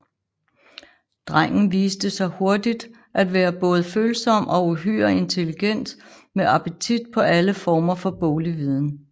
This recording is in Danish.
Drengen viste sig hurtigt at være både følsom og uhyre intelligent med appetit på alle former for boglig viden